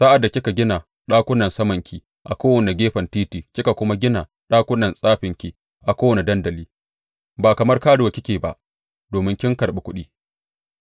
Sa’ad da kika gina ɗakunan samanki a kowane gefen titi kika kuma gina ɗakunan tsafinki a kowane dandali, ba kamar karuwa kike ba, domin kin karɓi kuɗi.